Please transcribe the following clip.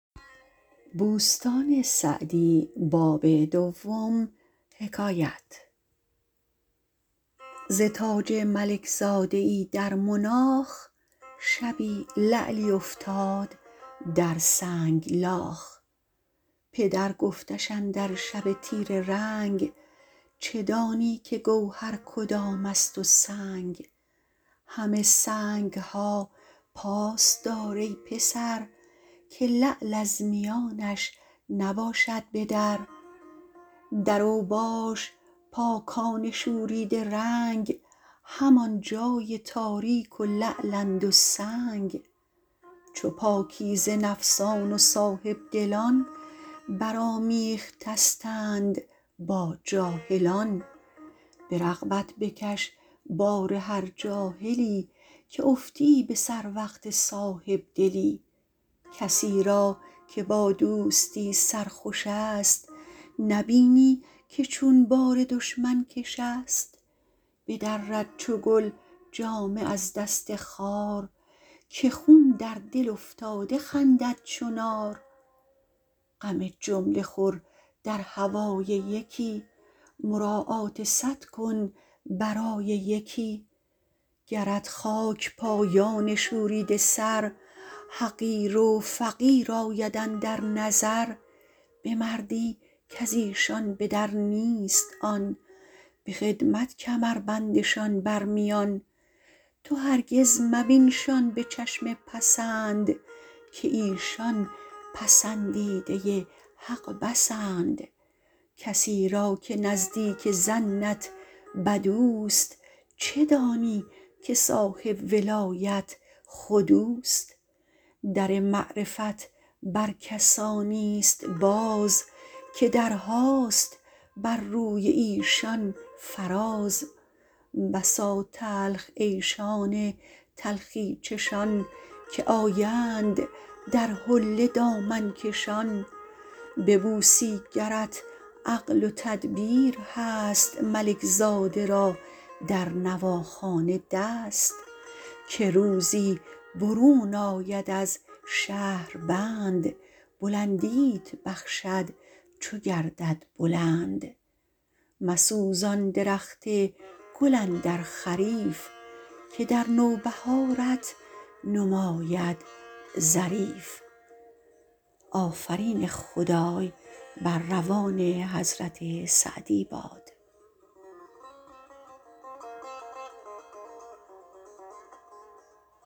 ز تاج ملک زاده ای در مناخ شبی لعلی افتاد در سنگلاخ پدر گفتش اندر شب تیره رنگ چه دانی که گوهر کدام است و سنگ همه سنگ ها پاس دار ای پسر که لعل از میانش نباشد به در در اوباش پاکان شوریده رنگ همان جای تاریک و لعلند و سنگ چو پاکیزه نفسان و صاحبدلان بر آمیخته ستند با جاهلان به رغبت بکش بار هر جاهلی که افتی به سر وقت صاحبدلی کسی را که با دوستی سرخوش است نبینی که چون بار دشمن کش است بدرد چو گل جامه از دست خار که خون در دل افتاده خندد چو نار غم جمله خور در هوای یکی مراعات صد کن برای یکی گرت خاک پایان شوریده سر حقیر و فقیر آید اندر نظر به مردی کز ایشان به در نیست آن به خدمت کمر بندشان بر میان تو هرگز مبینشان به چشم پسند که ایشان پسندیده حق بسند کسی را که نزدیک ظنت بد اوست چه دانی که صاحب ولایت خود اوست در معرفت بر کسانی است باز که درهاست بر روی ایشان فراز بسا تلخ عیشان تلخی چشان که آیند در حله دامن کشان ببوسی گرت عقل و تدبیر هست ملک زاده را در نواخانه دست که روزی برون آید از شهربند بلندیت بخشد چو گردد بلند مسوزان درخت گل اندر خریف که در نوبهارت نماید ظریف